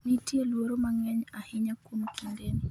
nitie luoro mang'eny ahinya kuom kindeni